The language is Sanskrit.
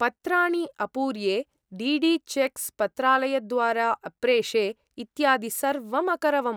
पत्राणि अपूर्ये, डी डी चेक्स् पत्रालयद्वारा अप्रेषे, इत्यादि सर्वम् अकरवम्।